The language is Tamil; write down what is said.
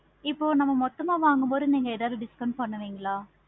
இப்போ நம்ம மொத்தமா வாங்கு போதும் நீங்க discount பண்ணுவிங்களா?